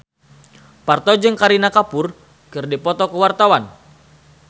Parto jeung Kareena Kapoor keur dipoto ku wartawan